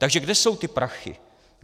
Takže kde jsou ty prachy?